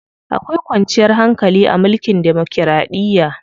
Akwai kwanciyar hankali a mulkin demokiraɗiya.